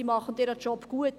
Diese machen ihren Job gut.